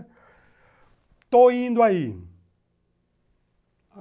Estou indo aí.